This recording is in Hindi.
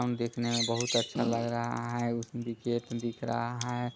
हम देखने मे बहुत अच्छा लग रहा हैउसमे विकेट दिख रहा है।